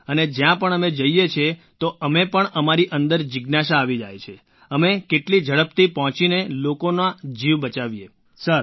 અને જ્યાં પણ અમે જઈએ છીએ તો અમે પણ અમારી અંદર જિજ્ઞાસા આવી જાય છે અમે કેટલી ઝડપથી પહોંચીને લોકોનો જીવ બચાવીએ સર